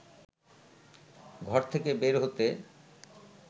ঘর থেকে বের হতে